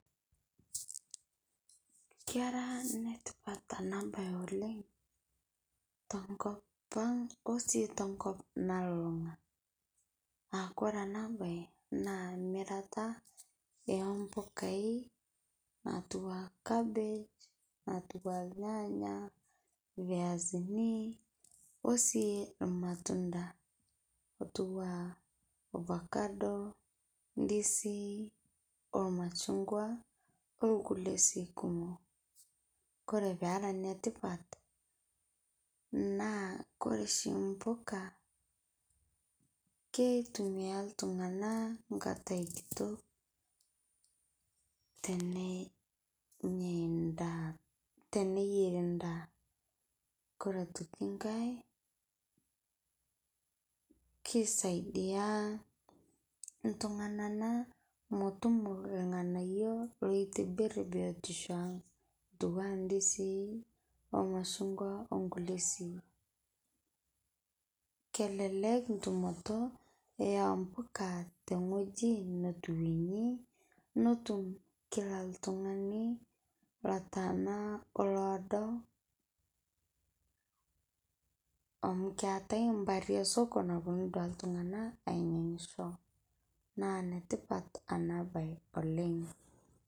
Keraa netipat ana baye oleng to nkopaang' osi sii to nkoop nalulung'a. Aa kore ana bayi naa miraata e mbukai atua kabeej, atua lyanya , fiasini, osii olmatunda, otua ofakado, ndisii, olmachugwa, olkulee sii kumook. Kore pee eraa netipaat naa kore shii mbukaa keitumia ltung'ana nkaatai kitook tene nyaa ndaa tene eyeeri ndaa. Kore atokii kaai keisadia ltung'ana naa meotuumo ilng'anaiyo loitibiir biotisho ang' atua ndisii o mashung'wa onkulee shii. Kelelek tumotoo ombukaa te ng'ojii notuwueni notuum kila ltung'ani laata naa oloodo amu keetai mbaari e soko naponuu duake ltung'ana aiyang'isho. Naa netipat ana bayi oleng.